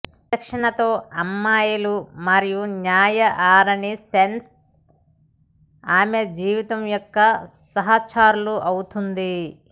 విచక్షణతో అమ్మాయిలు మరియు న్యాయ ఆరని సెన్స్ ఆమె జీవితం యొక్క సహచరులు అవుతుంది